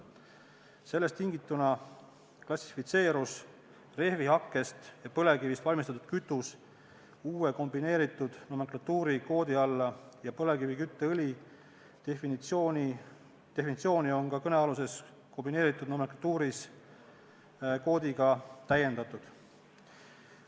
Sellest tingituna klassifitseerus rehvihakkest ja põlevkivist valmistatud kütus uue kombineeritud nomenklatuuri koodi alla ja põlevkivikütteõli definitsiooni on ka kõnealuses kombineeritud nomenklatuuris koodiga täiendatud.